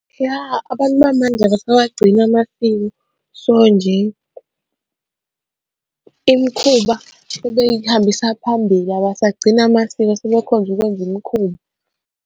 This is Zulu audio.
Ya, abantu bamanje abasawagcini amasiko, so nje imikhuba ebeyikuhambisa phambili abasagcini amasiko sebekhonze ukwenza imikhuba.